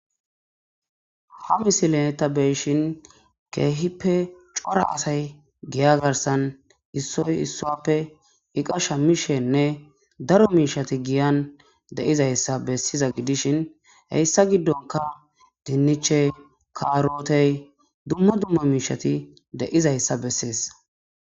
Ha misileta beyshin keehippe cora asay giya garsan issoy issuappe iqasha mishenne daro miishati giyan deizayssa bessiza gidishin heyssa giddonka dinniche kaarotey dumma dumma miishati de7'zayssa bessees.